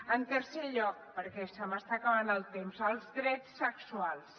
en tercer lloc perquè se m’està acabant el temps els drets sexuals